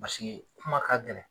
paseke kuma ka gɛlɛn